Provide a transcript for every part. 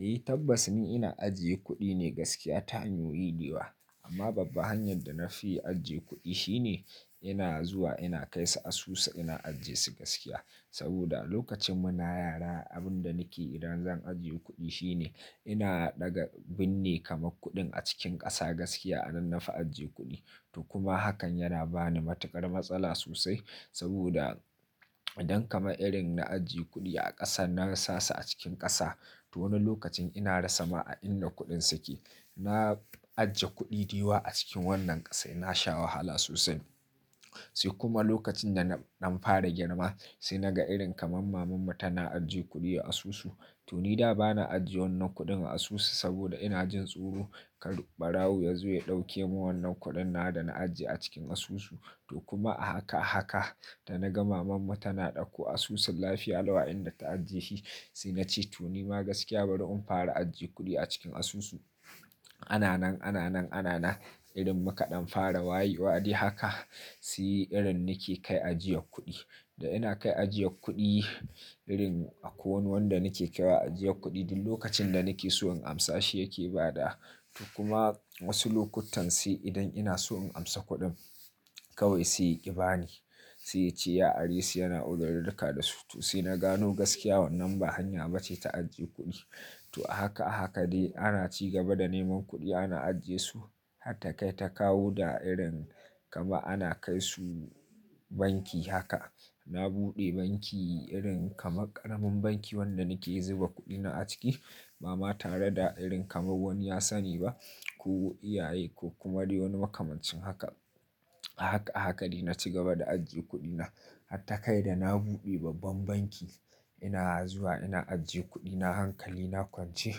Eh tabbas ni ina ajiye kuɗi ne gaskiya ta hannu yi diwa amma babba hanyar da na fi ajiye kuɗi shine ina zuwa ina kai su asusu ina ajiyesu gaskiya saboda lokacin muna yara abin da nike yi idan zan ajiye kuɗi shine ina ɗaga binne kama kuɗin a cikin ƙasa gaskiya a nan na fi ajiye kuɗi to kuma hakan yana bani matuƙar matsala sosai saboda idan kama irin na ajiye kuɗi a ƙasa na rasa su a cikin ƙasa to wani lokacin ina rasa ma inda kuɗin suke. Na ajiye kuɗi da yawa a cikin wannan ƙasa ina sha wahala sosai sai kuma lokacin da na fara girma sai na ga irin kamar maman mu tana ajiye kuɗi a asusu to ni da ba na ajiye wannan kuɗin a asusu saboda ina jin tsoro kar ɓarawo ya zo ya ɗauke mun wannan kuɗin na da na ajiye a cikin asusu to kuma haka haka da na ga maman mu tana ɗauko asusun lafiya lawa'in da ta ajiye shi sai na ce to ni ma gaskiya bari in fara ajiye kuɗi a cikin asusu. Ana nan, ana nan, ana nan irin muka ɗan fara wayewa ɗe haka sai irin nike kai ajiye kuɗi. Da ina kai ajiye kuɗi irin akwan wanda nike kira ajiye kuɗi duk lokacin da nike so in amsa shi yake ba da. To kuma wasu lokutan sai idan ina so in amsa kuɗin kawai sai yake bani sai ya ce ya ari su yana uzar taka da su to sai na gano gaskiya wannan ba hanya bace ta ajiye kuɗi. To a haka a haka dai ana ci gaba da neman kuɗi ana ajiyesu hatta kai ta kawo da irin kama ana kai su banki haka. Na buɗe banki irin kama ƙaramin banki wanda nike zuba kuɗina a ciki ama tare da irin kama wani ya sani ba ko iyaye ko kuma dai wani makamancin haka. A haka a haka dai na ci gaba da ajiye kuɗina hatta kai da na buɗe babban banki ina zuwa ina ajiye kuɗina hankali na kwance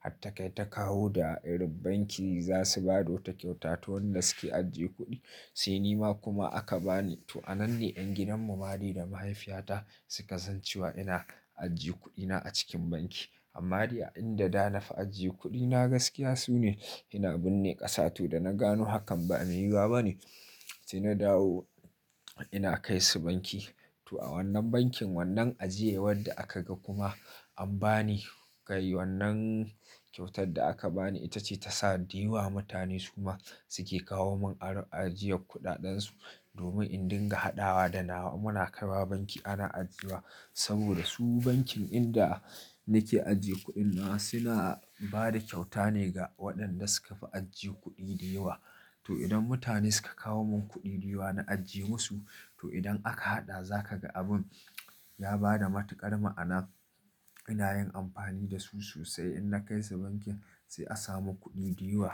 hatta kai ta kawo da irin banki za su ba da wata kyauta to wadanda suke ajiye kuɗi sai ni ma kuma aka bani. To a nan dai yan gidan mu mali da mahaifiyata suka san cewa ina ajiye kuɗina a cikin banki. Amma dai a inda da na fi ajiye kuɗina gaskiya sune ina binne ƙasa to da na gano hakan ba a mai yi ba bane sai na dawo ina kai su banki. To a wannan bankin wannan ajiyewar da aka ga kuma an bani kai wannan kyautar da aka bani ita ce ta sa da yawa mutane su ma suke kawo mun ajiye kuɗaɗen su domin in dinga haɗawa da nawa muna kai wa banki ana ajiye wa saboda su bankin inda nike ajiye kuɗin na suna bada kyauta ne ga waɗanda suka fi ajiye kuɗi da yawa. To idan mutane suka kawo mun kuɗi diwa na ajiye musu to idan aka haɗa za ka ga abun ya bada matuƙar ma'ana. Ina yin amfani da su sosai in na kai su bankin sai a sa mun kuɗi da yawa.